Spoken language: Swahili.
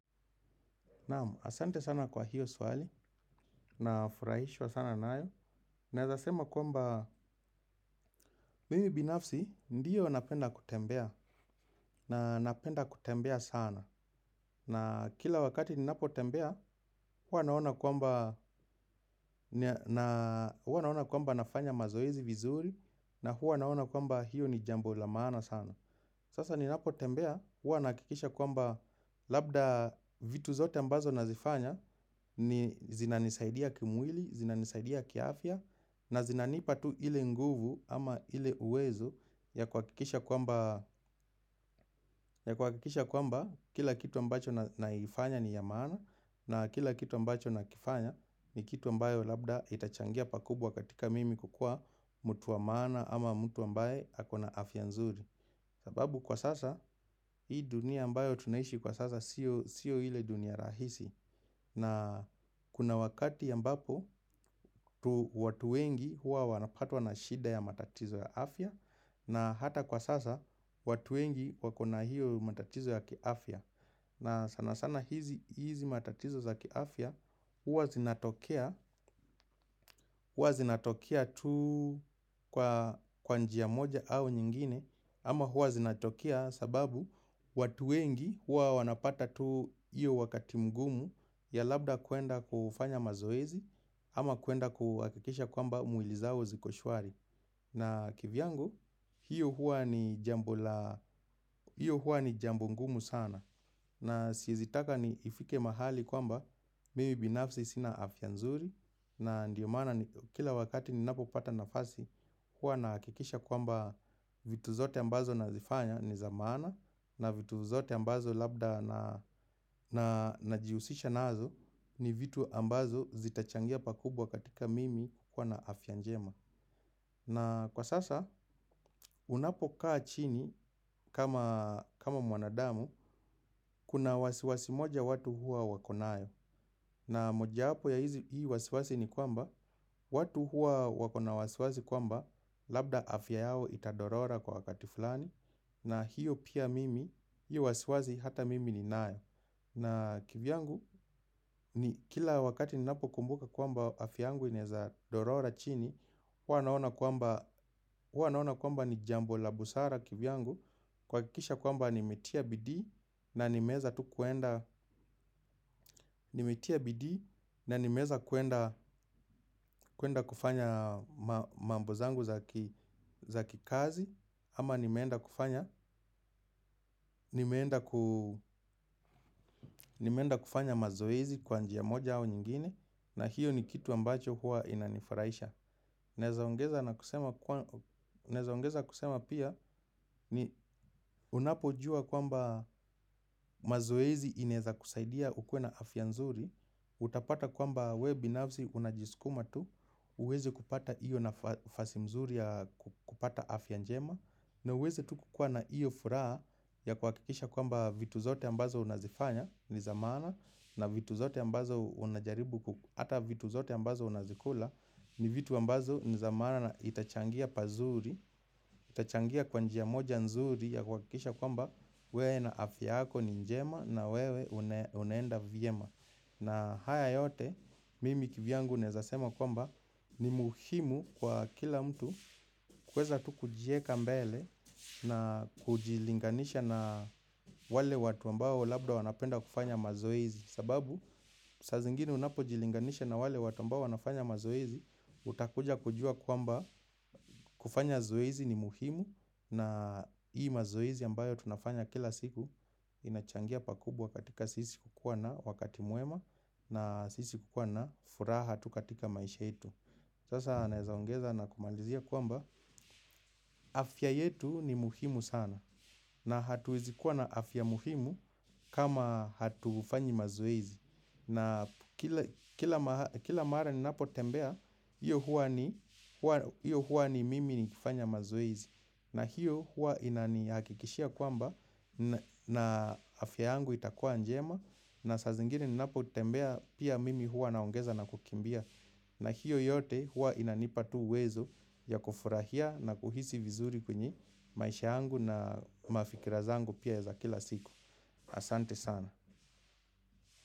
Naam, asante sana kwa hiyo swali, nafurahishwa sana nayo. Naeza sema kwamba, mimi binafsi ndiyo napenda kutembea, na napenda kutembea sana. Na kila wakati ninapo tembea, huwa naona kwamba nafanya mazoezi vizuri, na huwa naona kwamba hiyo ni jambo la maana sana. Sasa ni napotembea huwa nahakikisha kwamba labda vitu zote ambazo nazifanya ni zinanisaidia kimwili, zinanisaidia kiafya na zinanipa tu ile nguvu ama ile uwezo ya kuhakikisha kwamba kuhakikisha kwamba kila kitu ambacho naifanya ni ya maana na kila kitu ambacho nakifanya ni kitu ambayo labda itachangia pakubwa katika mimi kukuwa mtu wa maana ama mtu ambaye ako na afya nzuri. Sababu kwa sasa hii dunia ambayo tunaishi kwa sasa sio ile dunia rahisi na kuna wakati ambapo watu wengi huwa wanapatwa na shida ya matatizo ya afya na hata kwa sasa watu wengi wako na hiyo matatizo ya kiafya na sana sana hizi matatizo ya kiafya huwa zinatokea huwa zinatokea tu kwa njia moja au nyingine ama huwa zinatokea sababu watu wengi huwa wanapata tu hiyo wakati mgumu ya labda kuenda kufanya mazoezi ama kuenda kuhakikisha kwamba mwili zao ziko shwari. Na kivyangu hiyo huwa ni jambo la hiyo huwa ni jambo ngumu sana. Na siezi taka ni ifike mahali kwamba Mimi binafsi sina afya nzuri. Na ndiyo mana ni kila wakati ni napo pata nafasi. Huwa nahakikisha kwamba vitu zote ambazo na zifanya ni za maana. Na vitu zote ambazo labda na najihusisha nazo ni vitu ambazo zitachangia pakubwa katika mimi kuwa na afya njema. Na kwa sasa unapo kaa chini kama mwanadamu kuna wasiwasi moja watu huwa wako nayo. Na mojawapo ya hii wasiwasi ni kwamba watu huwa wako na wasiwasi kwamba labda afya yao itadorora kwa wakati fulani. Na hiyo pia mimi, hiyo wasiwasi hata mimi ninayo. Na kivyangu, kila wakati ninapo kumbuka kwamba afya yangu inaeza dorora chini. Huwa naona kwamba ni jambo la busara kivyangu. Kuhakikisha kwamba nimetia bidii na nimeeza tu kuenda. Nimetia bidii na nimeweza kuenda kufanya mambo zangu za kikazi ama nimeenda kufanya nimeenda kufanya mazoezi kwa njia moja au nyingine. Na hiyo ni kitu ambacho huwa inanifuraisha. Naeza ongeza kusema pia. Ni unapojua kwamba mazoezi inaeza kusaidia ukuwe na afya nzuri. Utapata kwamba we binafsi unajiskuma tu. Huwezi kupata iyo nafasi nzuri ya kupata afya njema ni uweze tu kukukuwa na iyo furaha ya kuhakikisha kwamba vitu zote ambazo unazifanya ni za maana na vitu zote ambazo unajaribu kukua, hata vitu zote ambazo unazikula ni vitu ambazo ni za maana na itachangia pazuri, itachangia kwa njia moja nzuri ya kuhakikisha kwamba wewe na afya yako ni njema na wewe unaenda vyema na haya yote mimi kivyangu naeza sema kwamba ni muhimu kwa kila mtu. Kuweza tu kujieka mbele na kujilinganisha na wale watu ambao labda wanapenda kufanya mazoezi. Sababu saa zingine unapo jilinganisha na wale watu ambao wanafanya mazoezi utakuja kujua kwamba kufanya zoezi ni muhimu. Na hii mazoezi ambayo tunafanya kila siku inachangia pakubwa katika sisi kukuwa na wakati mwema. Na sisi kukuwa na furaha tu katika maisha yetu. Sasa naeza ongeza na kumalizia kwamba afya yetu ni muhimu sana na hatuwezi kuwa na afya muhimu kama hatufanyi mazoezi na kila mahali kila mara ni napotembea hiyo huwa ni mimi nikifanya mazoezi na hiyo huwa inanihakikishia kwamba afya yangu itakuwa njema na saa zingine ninapo tembea pia mimi huwa naongeza na kukimbia. Na hiyo yote huwa inanipa tu uwezo ya kufurahia na kuhisi vizuri kwenye maisha yangu na mafikira zangu pia za kila siku. Asante sana.